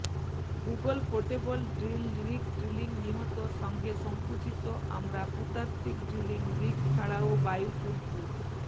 ভূগোল portable drill rig drilling নিহত সঙ্গে সংকুচিত আমরা ভূতাত্ত্বিক ড্রিলিং রিগস ছাড়াও বায়ু তুরপু